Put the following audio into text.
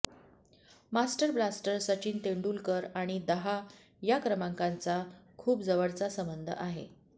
master blaster Sachin Tendulkar आणि दहा या क्रमांकाचा खूप जवळचा संबंध आहे